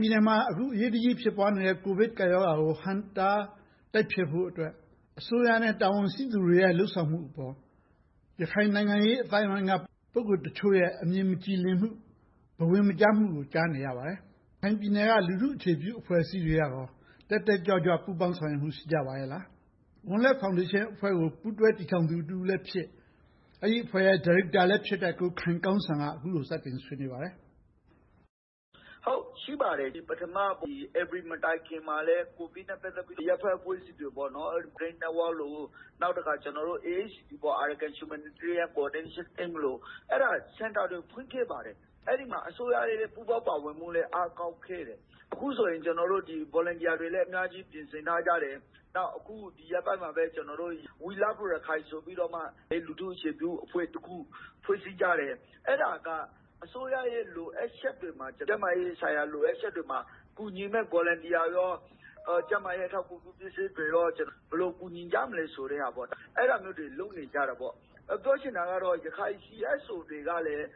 ပြည်နယ်မှာ အခု အရေးတကြီးဖြစ်ပွားနေတဲ့ ကိုဗစ်ကပ်ရောဂါကို ဟန့်တားတိုက်ဖျက်ဖို့အတွက် အစိုးရနဲ့ တာဝန်ရှိသူတွေရဲ့ လုပ်ဆောင်မှုအပေါ် ရခိုင်နိုင်ငံရေးအသိုင်းအဝိုင်းက ပုဂ္ဂိုလ်တချို့ရဲ့ အမြင်မကြည်လင်မှု၊ ဘဝင်မကျမှုတွေကို ကြားနေရပါတယ်။ ရခိုင်ပြည်နယ်က လူထုအခြေပြုအဖွဲ့အစည်းတွေကရော တက်တက်ကြွကြွ ပူးပေါင်းဆောင်ရွက်မှု ရှိကြပါရဲ့လား။ ဝံလက်ဖောင်ဒေးရှင်းအဖွဲ့ကို ပူးတွဲတည်ထောင်သူလည်းဖြစ်၊ အဲဒီအဖွဲ့ရဲ့ ဒါရိုက်တာလည်းဖြစ်တဲ့ ကိုခိုင်ကောင်းစံ က အခုလို စတင်ဆွေးနွေးပါတယ်။ ရှိပါတယ်။ ဧပြီလမတိုင်မီမှာလဲ ကိုဗစ်နဲ့ ပတ်သက်ပြီး အရပ်ဘက်အဖွဲ့အစည်းတွေ Green Network လို၊ နောက်ပြီးတော့ AHCT - Arakan Humanitarian Coordination Team တို့က စင်တာတွေ ဖွင့်ခဲ့ပါတယ်။ အဲဒီမှာ အစိုးရရဲ့ ပူးပေါင်းပါဝင်မှုလည်း အားကောင်းခဲ့တယ်။ အခုဆိုရင် ကျနော်တို့ volunteers တွေလည်း အများကြီးပြင်ဆင်ထားကြတယ်။ နောက် အခုရက်ပိုင်းမှာပဲ We Love Rakhine ဆိုပြီးတော့ လူထုအခြေပြုအဖွဲ့ ဖွဲ့စည်းကြတယ်။ အဲဒါက အစိုးရရဲ့ လိုအပ်ချက်တွေမှာ ကျန်းမာရေးဆိုင်ရာ လိုအပ်ချက်တွေမှာ ကူညီမယ့် volunteer တွေနဲ့ ကျန်းမာရေးအထောက်အကူပြု ပစ္စည်းတွေ၊ ဘယ်လိုကူညီကြမလဲဆိုတဲ့ဟာ အဲဒါမျိုးတွေ လုပ်နေကြပါတယ်။ ပြောချင်တာကတော့ ရခိုင် CSO တွေကလည်း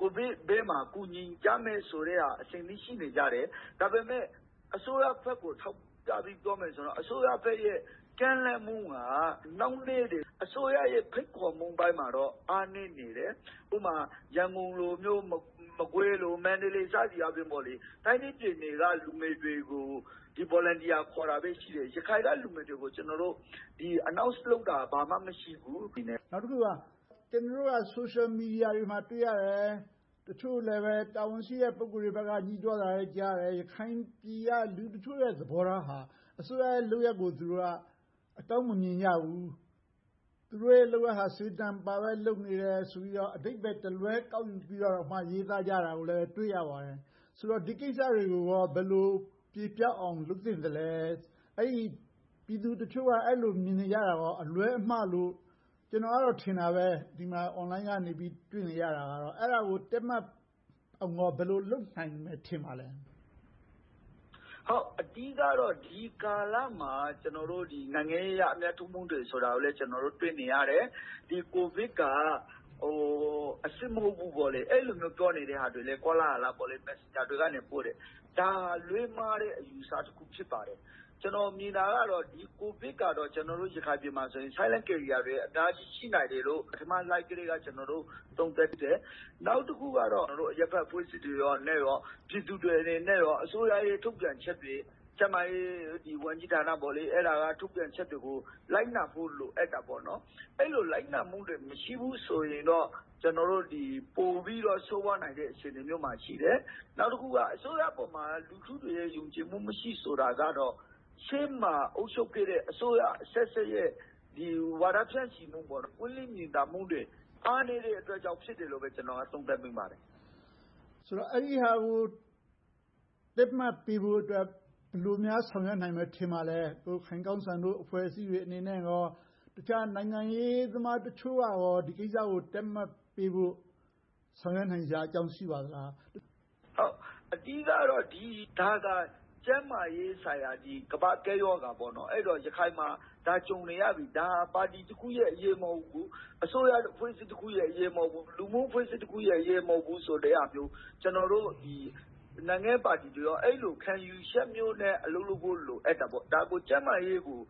ကိုဗစ်ဘေးကို ကူညီကြမယ်ဆိုတဲ့ဟာ အဆင်သင့် ရှိနေကြတယ်။ ဒါပေမဲ့ အစိုးရဘက်ကို ထောက်ပြပြီး ပြောမယ်ဆိုရင်တော့ အစိုးရဘက်ရဲ့ ကမ်းလှမ်းမှုက နှောင့်နှေးနေပြီး၊ အစိုးရရဲ့ ဖိတ်ခေါ်မှုပိုင်းမှာတော့ အားနည်းနေတယ်။ ဥပမာ ရန်ကုန်လိုမျိုး၊ မကွေး၊ မန္တလေး စသည်အားဖြင့် တိုင်းနဲ့ပြည်နယ်က လူငယ်တွေကို volunteer ခေါ်တာပဲ ရှိတယ်။ ရခိုင်က လူငယ်တွေကို announce လုပ်တာ ဘာမှမရှိဘူး။ နောက်တခုက ကျနော်တို့က ဆိုရှယ်မီဒီယာတွေမှာ တွေ့ရတယ်။ တချို့လဲပဲ တာဝန်ရှိတဲ့ ပုဂ္ဂိုလ်တွေဘက်က ငြီးတွားတာလည်း ကြားတယ်။ ရခိုင်ပြည်က လူ့တချို့ရဲ့ သဘောထားဟာ အစိုးရရဲ့ လုပ်ရပ်ကို သူတို့ဟာ အကောင်းမမြင်ကြဘူး။ သူတို့ရဲ့လုပ်ရပ်ဟာ စေတနာမပါဘဲ လုပ်နေတယ်ဆိုပြီး အဓိပ္ပါယ်တလွဲ ကောက်ယူပြီးတော့ ရေးသားကြတာကိုလည်း တွေ့ရပါတယ်။ ဆိုတော့ ဒီကိစ္စတွေကို ဘယ်လိုပြေပျောက်အောင် လုပ်သင့်သလဲ။ အဲဒီပြည်သူတချို့ အဲဒီလို မြင်နေကြတာ အလွဲအမှားလို့ ကျနော်ကတော့ ထင်တာပဲ။ Online ကနေ တွေ့နေရတာကတော့ အဲဒါကို တည့်မတ်အောင် ဘယ်လိုလုပ်နိုင်မယ် ထင်ပါသလဲ။ အဓိကတော့ ဒီကာလမှာ နိုင်ငံရေးအရ အမြတ်ထုတ်မှုတွေဆိုတာကိုလည်း ကျနော်တို့ တွေ့နေရတယ်။ ကိုဗစ်က အစစ်မဟုတ်ဘူးဆိုပြီး အဲဒီလိုမျိုး ကောလာဟလ ပြောနေကြတာတွေလည်း messenger ကနေ ပို့ကြတယ်။ ဒါက လွဲမှားတဲ့ အယူအဆတစ်ခု ဖြစ်ပါတယ်။ ကျနော်မြင်တာကတော့ ကိုဗစ်ကတော့ ကျနော်တို့ရခိုင်ပြည်မှာ Silent carriers တွေက အတားအဆီး ရှိနိုင်တယ်လို့ ပထမအချိန်မှာကတည်းက သုံးသပ်ခဲ့တယ်။ နောက်တစ်ခုက အရပ်ဘက်အဖွဲ့အစည်းတွေနဲ့ ပြည်သူတွေအနေနဲ့ အစိုးရရဲ့ ထုတ်ပြန်ချက်တွေ၊ ကျန်းမာရေးဝန်ကြီးဌာနတို့ရဲ့ ထုတ်ပြန်ချက်တွေကို လိုက်နာဖို့ လိုအပ်ပါတယ်။ အဲဒီလို လိုက်နာမှုတွေ မရှိဘူးဆိုရင်တော့ ပိုပြီးတော့ ဆိုးဝါးနိုင်တဲ့ အခြေအနေမျိုးမှာ ရှိတယ်။ နောက်တစ်ခုက အစိုးရအပေါ်မှာ လူထုတွေရဲ့ ယုံကြည်မှု မရှိဘူးဆိုတာကတော့ ရှေ့မှာအုပ်ချုပ်ခဲ့တဲ့ အစိုးရအဆက်ဆက်ရဲ့ ဝါဒဖြန့်ချီမှုတွေ၊ ပွင့်လင်းမြင်သာမှုတွေ အားနည်းတဲ့အတွက်ကြောင့်မို့ ဖြစ်တယ်လို့ပဲ ကျနော်က သုံးသပ်မိပါတယ်။ ဆိုတော့ အဲဒီဟာကို တည့်မတ်ပေးဖို့အတွက် ဘယ်လိုများ ဆောင်ရွက်ပေးနိုင်မယ် ထင်ပါသလဲ။ ကိုခိုင်ကောင်းစံတို့ အဖွဲ့အစည်းတွေအနေနဲ့ တခြားနိုင်ငံရေးသမားတချို့က ဒီကိစ္စကို တည့်မတ်ပေးဖို့ ဆောင်ရွက်နိုင်စရာအကြောင်း ရှိပါသလား။ အဓိကတော့ ကျန်းမာရေးဆိုင်ရာ ကမ္ဘာ့ကပ်ရောဂါပေါ့။ အဲဒီတော့ ရခိုင်မှာ ဒါကို ကြုံနေရပြီ။ ဒါက ပါတီတစ်ခုရဲ့အရေး မဟုတ်ဘူး။ အစိုးရအဖွဲ့အစည်းတစ်ခုရဲ့ အရေးမဟုတ်ဘူး။ လူမှုအဖွဲ့အစည်းတစ်ခုရဲ့ အရေးမဟုတ်ဘူးဆိုတဲ့ဟာမျိုး ကျနော်တို့ နိုင်ငံရေးပါတီတွေလည်း အဲဒီလို ခံယူချက်မျိုးနဲ့ အလုပ်လုပ်ဖို့ လိုအပ်ပါတယ်။ ကျန်းမာရေးကို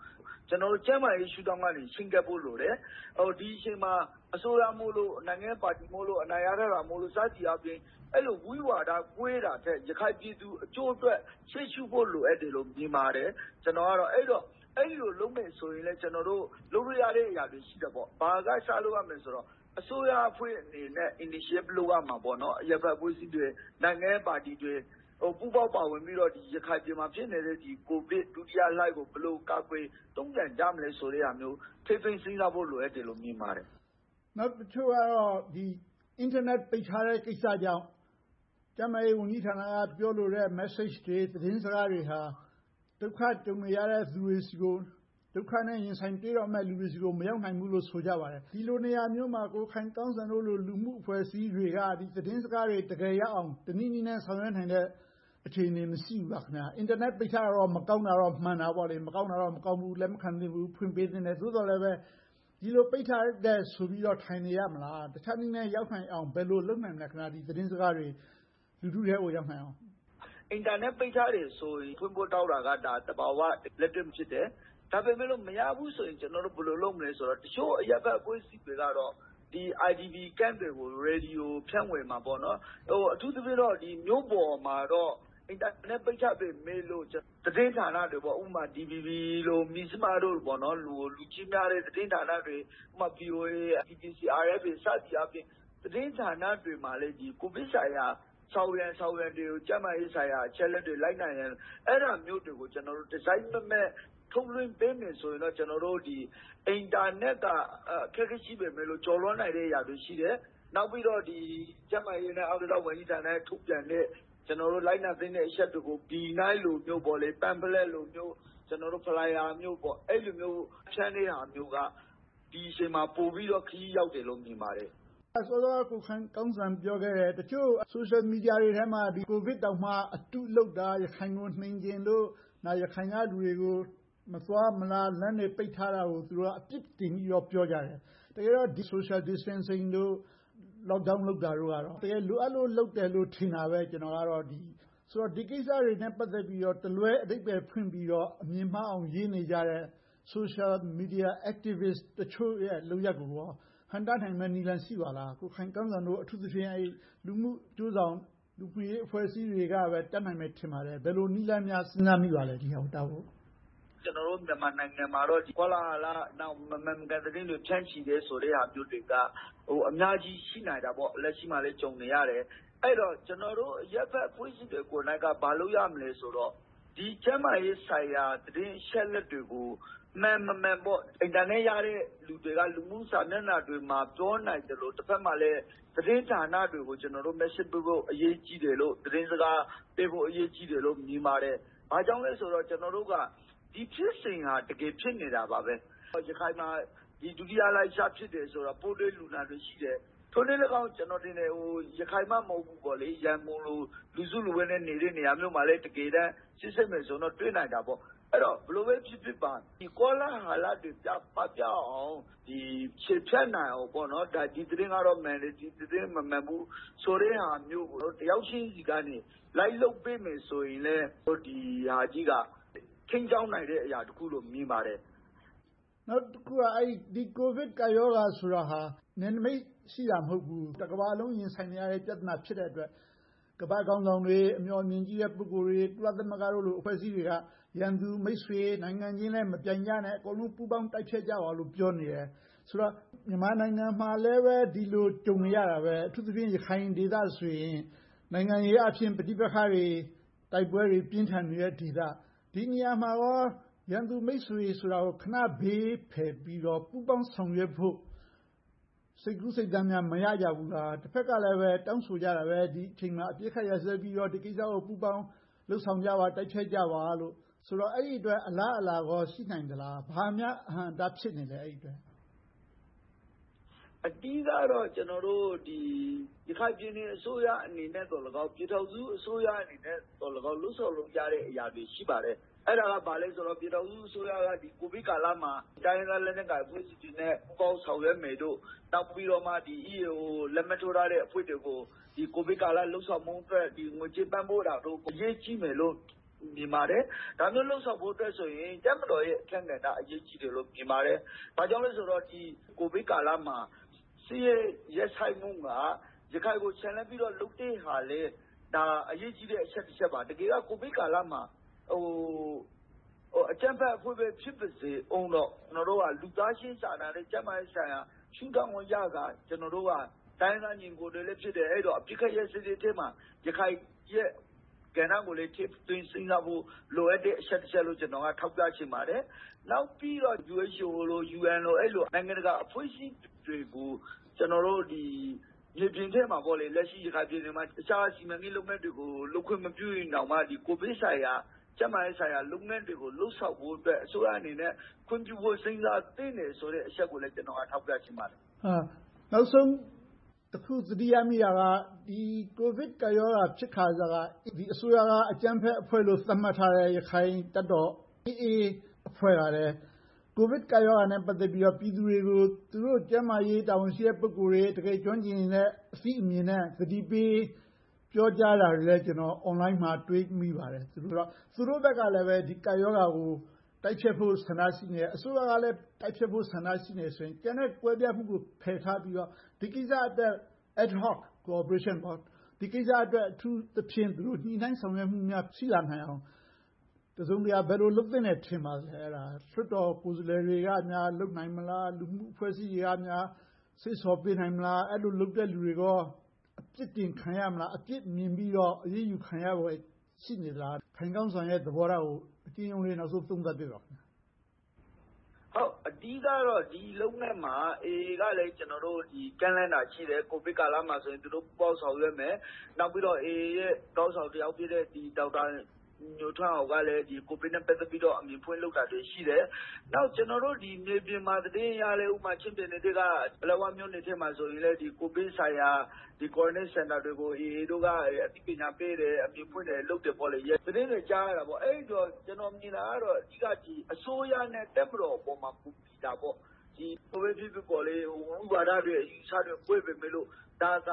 ကျန်းမာရေးရှုထောင်ကနေ ချဉ်းကပ်ဖို့လိုတယ်။ ဒီအချိန်မှာ အစိုးရမိုလို့၊ နိုင်ငံရေးပါတီမိုလို့ အနိုင်ရထားတာမို့လို စသည်အားဖြင့် ဝိဝါဒ ကွဲနေတာထက်၊ ရခိုင်ပြည်သူအကျိုးအတွက် ရှေ့ရှုဖို့ လိုအပ်တယ်လို့ မြင်ပါတယ်။ ကျနော်ကတော့ အဲဒီလိုလုပ်မယ်ဆိုရင်လဲ လုပ်လို့ရတဲ့ နေရာတွေ ရှိတာပေါ့။ ဘာတွေက စလုပ်ရမလဲဆိုတော့ အစိုးရအဖွဲ့အနေနဲ့ initiative လုပ်ရမှာပေါ့။ အရပ်သားအဖွဲ့အစည်းတွေ၊ နိုင်ငံရေးပါတီတွေ ပူးပေါင်းပါဝင်ပြီးတော့ ရခိုင်ပြည်နယ်မှာ ဖြစ်နေတဲ့ ကိုဗစ် ဒုတိယလှိုင်းကို ဘယ်လိုကာကွယ်တုံ့ပြန်ကြမလဲ ဆိုတဲ့ဟာမျိုးကို ထည့်သွင်းစဉ်းစားဖို့ လိုပါတယ်။ နောက်တချို့ကတော့ အင်တာနက် ပိတ်ထားတဲ့ ကိစ္စကြောင့် ကျန်းမာရေးဝန်ကြီးဌာနက ပြောလိုတဲ့ messages တွေ၊ သတင်းစကားတွေဟာ ဒုက္ခကြုံနေရတဲ့လူတွေဆီကို ဒုက္ခနဲ့ ရင်ဆိုင်တွေ့တော့မယ့် လူတွေဆီကို မရောက်နိုင်ဘူးလို့ ဆိုကြပါတယ်။ ဒီလိုနေရာမျိုးမှာ ကိုခိုင်ကောင်းစံတို့လို လူမှု့အဖွဲ့အစည်းတွေက သတင်းစကားတွေ တကယ်ရအောင်၊ တနည်းနည်းနဲ့ ဆောင်ရွက်နိုင်တဲ့ အခြေအနေ မရှိဘူးလား။ အင်တာနက် ပိတ်ထားတာကတော့ မကောင်းတာတော့ မှန်တာပေါ့။ မကောင်းဘူး၊ လက်မခံသင့်ဘူး၊ ဖွင့်ပေးသင့်တယ်။ သို့သော်လဲပဲ ဒီလိုပိတ်ထားတယ်ဆိုပြီးတော့ ထိုင်နေရမလား။ တခြားနည်းနဲ့ ရောက်နိုင်အောင် ဘယ်လိုလုပ်နိုင်မလဲ။ သတင်းစကားတွေ လူထုထဲကို ရောက်နိုင်အောင်။ အင်တာနက်ပိတ်ထားတာကို ဖွင့်ဖို့တောင်းတာက သဘာဝလက်တွေ့ ဖြစ်တယ်။ ဒါပေမဲ့ မရဘူးဆိုရင် ကျနော်တို့ ဘယ်လိုလုပ်မလဲဆိုတော့ တချို့အရပ်သားအဖွဲ့အစည်းတွေကတော့ IDP Camps တွေကို ရေဒီယို ဖြန့်ဝေသွားမယ်။ အထူးသဖြင့်တော့ မြို့ပေါ်မှာတော့ အင်တာနက်ပိတ်ထားပေမယ့် သတင်းဌာနတွေ - ဥပမာ DVB, မဇ္ဈိမတို့ လူကြည့်များတဲ့ သတင်းဌာနတွေ VOA, BBC, RFA စသည်ဖြင့် သတင်းဌာနတွေမှာလည်း ကိုဗစ်ဆိုင်ရာ ဆောင်ရန်၊ ရှောင်ရန်တွေကို ကျန်းမာရေးဆိုင်ရာ အချက်အလက်တွေ လိုက်နာရန် အဲဒါတွေကို ကျနော်တို့ တစိုက်မတ်မတ် ထုတ်လွှင့်ပေးမယ်ဆိုရင်တော့ အင်တာနက်က အခက်အခဲ ရှိနိုင်ပေမယ့် ကျော်လွှာနိုင်တာတွေ ရှိပါတယ်။ နောက်ပြီးတော့ ကျန်းမာရေးနဲ့ အားကစား ဝန်ကြီးဌာနက ထုတ်ပြန်တဲ့ လိုက်နာသင့်တဲ့ အချက်တွေကို ဗီနိုင်း၊ pamphlet, flyer တွေနဲ့ ဖြန့်တဲ့ဟာမျိုးက ဒီအချိန်မှာ ပိုပြီးတော့ ခရီးရောက်တယ်လို့ မြင်ပါတယ်။ စောစောက ကိုခိုင်ကောင်းစံပြောခဲ့တဲ့ တချို့ဆိုရှယ်မီဒီယာထဲမှာ ကိုဗစ်တောင်မှ အတုလုပ်တာ၊ ရခိုင်ကို နိမ်ချင်လို့ ရခိုင်ကလူတွေကို မသွားမလာ၊ လမ်းတွေပိတ်ထားတာကို သူတို့က အပြစ်တင်ပြီးတော့ ပြောကြတယ်။ တကယ်တော့ Social distancing, lockdown လုပ်တာတို့ကတော့ တကယ်လိုအပ်လို့ လုပ်တယ်လို့ ထင်တာပဲ ကျနော်ကတော့။ ဆိုတော့ ဒီကိစ္စတွေနဲ့ ပတ်သက်ပြီးတော့ တလွဲအဓိပ္ပါယ်ဖွင့်ပြီးတော့ အမြင်မှားအောင် ရေးနေကြတဲ့ Social Media Activists တချို့ရဲ့ လုပ်ရပ်တွေကို ဟန့်တားနိုင်မယ့်နည်းလမ်း ရှိပါသလား။ ကိုခိုင်ကောင်းစံတို့ အထူးသဖြင့် လူမှုအကျိုးဆောင်၊ လူမှုရေးအဖွဲ့အစည်းတွေကပဲ တတ်နိုင်မယ် ထင်ပါတယ်။ ဘယ်လိုနည်းလမ်းတွေများ ဒီဟာကို ဟန့်တားဖို့ စဉ်းစားမိပါသလဲ။ ကျနော်တို့ မြန်မာနိုင်ငံမှာတော့ ဒီလို ကောလာဟလ၊ မမှန်မကန် သတင်းတွေ ဖြန့်ချီနေတာမျိုးတွေက အများကြီး ရှိနိုင်တာပေါ့။ လက်ရှိမှာလဲ ကြုံနေရတယ်။ အဲဒီတော့ ကျနော်တို့ အရပ်ဘက်အဖွဲ့အစည်းတွေကိုယ်တိုင်က ဘာလုပ်ရမလဲဆိုတော့ ကျန်းမာရေးဆိုင်ရာ သတင်းအချက်အလက်တွေကို မှန်မမှန် အင်တာနက်ရတဲ့ လူတွေက လူမှုစာမျက်နှာတွေမှာ ပြောနိုင်သလို၊ တဘက်မှာလဲ သတင်းဌာနတွေကို ကျနော်တို့ message ပေးဖို့ အရေးကြီးတယ်လို့ သတင်းစကားပေးဖို့ အရေးကြီးတယ်လို့ မြင်ပါတယ်။ ဘာကြောင့်လဲဆိုတော့ ကျနော်တို့က ဒီဖြစ်စဉ်ဟာ တကယ်ဖြစ်နေတာပါပဲ။ ရခိုင်မှာ ဒုတိယလှိုင်း စဖြစ်တယ်ဆိုတော့ ပိုးတွေ့လူနာတွေ ရှိတယ်။ ထိုနည်းလည်းကောင်း ရခိုင်မှ မဟုတ်ဘူး။ ရန်ကုန်လို လူစုလူဝေးနဲ့ နေတဲ့နေရာတွေမှာလဲ စစ်ဆေးမယ်ဆိုရင် တွေ့နိုင်တာပေါ့။ အဲဒီတော့ ဘယ်လိုပဲဖြစ်ဖြစ်ပါ ကောလာဟလတွေ ပပျောက်အောင်၊ ချေဖျက်နိုင်အောင် ဒီသတင်းကတော့ မှန်တယ်။ ဒီသတင်းကတော့ မမှန်ဘူး ဆိုတဲ့ဟာမျိုးကို တယောက်ချင်းဆီက လိုက်လုပ်ပေးမယ်ဆိုရင်လဲ ဒီဟာကြီးက ထိန်းကျောင်းနိုင်တဲ့ အရာတစ်ခုလို့ မြင်ပါတယ်။ နောက်တစ်ခုက ဒီကိုဗစ်ကပ်ရောဂါ ဆိုတာဟာ နယ်နမိတ် ရှိတာ မဟုတ်ဘူး။ တကမ္ဘာလုံး ရင်ဆိုင်နေရတဲ့ ပြဿနာ ဖြစ်တဲ့အတွက် ကမ္ဘာ့ခေါင်းဆောင်တွေ၊ အမျှော်အမြင်အမြင်ရှိတဲ့ ပုဂ္ဂိုလ်တွေ၊ ကုလသမဂ္ဂ အဖွဲ့အစည်းတွေက ရန်သူမိတ်ဆွေ၊ နိုင်ငံချင်းလဲ မပြိုင်ကြနဲ့ အားလုံး ပူးပေါင်းတိုက်ဖျက်ကြပါလို့ ပြောနေတယ်။ ဆိုတော့ မြန်မာနိုင်ငံမှာလဲ ဒီလိုကြုံနေရတာပဲ။ အထူးသဖြင့် ရခိုင်ဒေသဆိုရင် နိုင်ငံရေးအားဖြင့် ပဋိပက္ခတွေ တိုက်ပွဲတွေ ပြင်းထန်နေတဲ့ဒေသ။ ဒီနေရာမှာကော ရန်သူ-မိတ်ဆွေ ဆိုတာကို ခဏဘေးဖယ်ပြီးတော့ ပူးပေါင်းဆောင်ရွက်ဖို့ စိတ်ကူးစိတ်သန်များ မရကြဘူးလား။ တဘက်ကလဲ တောင်းဆိုကြတာပဲ။ ဒီအချိန်မှာ အပစ်ခတ်ရပ်စဲပြီးတော့ ဒီကိစ္စကို ပူးပေါင်းလုပ်ဆောင်ကြပါ။ တိုက်ဖျက်ကြပါလို့၊ အဲဒီအတွက် အလားအလာကော ရှိနိုင်သလား။ ဘာတွေများ အဟန့်အတား ဖြစ်နေသလဲ။ အဓိကတော့ ကျနော်တို့ ရခိုင်ပြည်နယ်အစိုးရအနေနဲ့လည်းကောင်း ပြည်ထောင်စုအစိုးရအနေနဲ့လည်းကောင်း လုပ်ဆောင်လုပ်ကြတဲ့ အရာတွေ ရှိပါတယ်။ အဲဒါက ဘာလဲဆိုတော့ ပြည်ထောင်စုအစိုးရက ကိုဗစ်ကာလမှာ တိုင်းရင်းသားလက်နက်ကိုင်တွေနဲ့ ပူးပေါင်းဆောင်ရွက်မယ်၊ နောက်ပြီးတော့ EAO လက်မှတ်ထိုးထားတဲ့ အဖွဲ့တွေကို ကိုဗစ်ကာလ လုပ်ဆောင်မှုအတွက် ငွေကြေးပံ့ပိုးတာတို့၊ အရေးကြီးတယ်လို့ မြင်ပါတယ်။ ဒါမျိုး လုပ်ဆောင်ဖို့အတွက်ဆိုရင် တပ်မတော်ရဲ့ အခန်းကဏ္ဍ အရေးကြီးတယ်လို့ မြင်ပါတယ်။ ဘာကြောင့်လဲဆိုတော့ ကိုဗစ်ကာလမှာ စစ်ရေးရပ်ဆိုင်းမှုက ရခိုင်ကို ချန်လှပ်ပြီးတော့ လုပ်တဲ့ဟာလဲ ဒါက အရေးကြီးတဲ့ အချက်တစ်ချက်ပါ။ တကယ်က ကိုဗစ်ကာလမှာ အကြမ်းဖက်အဖွဲ့ပဲ ဖြစ်ပါစေအုံးတော့ ကျနော်တို့က လူသားချင်းစာနာ၊ ကျန်းမာရေးရှုထောင့်အရ ကျနော်တို့က တိုင်းရင်းသားညီအကိုတွေလည်း ဖြစ်တယ်။ အဲဒီတော့ အပစ်ခတ်ရပ်စဲရေးမှာ ရခိုင်ရဲ့ကဏ္ဍကိုလည်း ထည့်သွင်းစဉ်းစားဖို့ လိုအပ်တဲ့ အချက်တစ်ချက်လို့ ကျနော်က ထောက်ပြချင်ပါတယ်။ နောက်ပြီးတော့ WHO, UN တို့လို နိုင်ငံတကာအဖွဲ့အစည်းတွေကို ကျနော်တို့ မြေပြင်မှာ လက်ရှိ တခြားစီမံကိန်းလုပ်ငန်းတွေကို လုပ်ခွင့်မပြုရင်တောင်မှ ကိုဗစ်ဆိုင်ရာ၊ ကျန်းမာရေးဆိုင်ရာ လုပ်ငန်းတွေကို လုပ်ဆောင်ဖို့အတွက် အစိုးရအနေနဲ့ ခွင့်ပြုဖို့ စဉ်းစားသင့်တယ်ဆိုတဲ့ အချက်ကိုလည်း ကျနော်က ထောက်ပြချင်ပါတယ်။ နောက်ဆုံးတစ်ခု သတိရမိတာက ဒီကိုဗစ်ကပ်ရောဂါ ဖြစ်ခါစက ဒီအစိုးရက အကြမ်းဖက်အဖွဲ့လို့ သတ်မှတ်ထားတဲ့ ရခိုင်တပ်တော် AA အဖွဲ့က ကိုဗစ်ကပ်ရောဂါနဲ့ ပတ်သက်ပြီး ပြည်သူတွေကို ကျန်းမာရေးတာဝန်ရှိတဲ့ ပုဂ္ဂိုလ်တွေ၊ တကယ်ကျွမ်းကျင်တဲ့ အသိအမြင်နဲ့ သတိပေးပြောကြားနေတာတွေလည်း အွန်လိုင်းမှာ တွေ့မိပါတယ်။ ဆိုတော့ သူတို့ဘက်ကလဲ ဒီကပ်ရောဂါကို တိုက်ဖျက်ဖို့ ဆန္ဒ ရှိနေတယ်။ အစိုးရကလဲ တိုက်ဖျက်ဖို့ ဆန္ဒရှိနေတယ်ဆိုရင် ကျန်တဲ့ကွဲပြားမှုတွေကို ဖယ်ထားပြီးတော့ ဒီကိစ္စအတွက် ad-hoc ဒီကိစ္စအတွက် အထူးသဖြင့် ညှိနှိုင်းဆောင်ရွက်များ ရှိလာနိုင်အောင် တစုံတရာ ဘယ်လိုလုပ်သင့်တယ် ထင်ပါသလဲ။ လွှတ်တော်ကိုယ်စားလှယ်တွေကများ လုပ်နိုင်မလား။ လူမှုအဖွဲ့အစည်းတွေကများ စေ့ဆော်ပေးနိုင်မလား။ အဲဒီလိုလုပ်တဲ့လူတွေကော အပြစ်တင်ခံရမလား။ အပြစ်မြင်ပြီးတော့ အရေးယူခံရဖွယ် ရှိနေသလား။ ခိုင်ကောင်းစံရဲ့ သဘောထားကို အကျဉ်းရုံးလေး နောက်ဆုံးသုံးသပ်ပေးပါ။ အဓိကတော့ ဒီလုပ်ဘက်မှာ AA ကလည်း ကျနော်တို့ ကမ်းလှမ်းတာ ရှိတယ်။ ကိုဗစ်ကာလမှာ သူတို့ပူးပေါင်းဆောင်ရွက်မယ်။ နောက်ပြီးတော့ AA ရဲ့ ခေါင်းဆောင်တစ်ယောက်ဖြစ်တဲ့ ဒေါက်တာညိုထွန်းအောင်က ကိုဗစ်နဲ့ ပတ်သက်ပြီးတော့ လုပ်နေတာတွေ ရှိတယ်။ နောက် မြေပြင်သတင်းအရ ပလက်ဝမြို့နယ်အတွင်းမှာ ကိုဗစ်ဆိုင်ရာ ကွာရန်တင်းစင်တာတွေကို AA တို့က အသိပညာပေးတယ် --- သတင်းတွေ ကြားနေတယ်။ အဲဒီအတွက် ကျနော်မြင်တာကတော့ အဓိက အစိုးရနဲ့ တပ်မတော်ပေါ်မှာ မူတည်တယ်။ မူဝါဒတွေ၊ အယူအဆတွေ ကွဲပေမယ့် ဒါက တ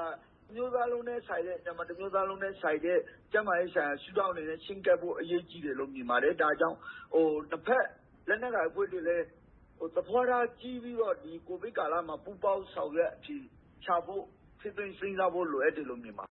မျိုးသားလုံးနဲ့ဆိုင်တဲ့ ကျန်းမာရေးရှုထောင့်ကနေ ချဉ်းကပ်ဖို့ လိုပါတယ်။ ဒါကြောင့် တဘက်က လက်နက်ကိုင်အဖွဲ့အစည်းတွေလဲ သဘောထားကြီးပြီးတော့ ကိုဗစ်ကာလမှာ ပူးပေါင်းဆောင်ရွက် အဖြေရှာဖို့ ထည့်သွင်းစဉ်းစားဖို့ လိုအပ်တယ်လို့ မြင်ပါ